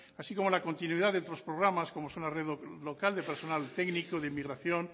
así como la continuidad de otros programas como son la red local de personal técnico de inmigración